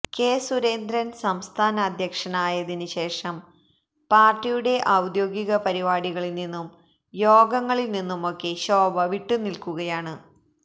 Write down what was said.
K Surendran സംസ്ഥാന അധ്യക്ഷനായതിന് ശേഷം പാർട്ടിയുടെ ഔദ്യോഗിക പരിപാടികളിൽ നിന്നും യോഗങ്ങളിൽ നിന്നുമൊക്കെ ശോഭ വിട്ടുനിൽക്കുകയാണ്